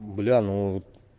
бля ну